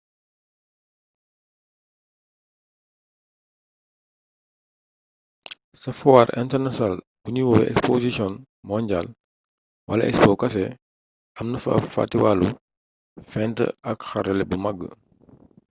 ca fuwaar internasiyonaal buñuy woowee exposisiyon monjaal wala expo kese am na fa ab fatiwaalu fent ak xarala bu mag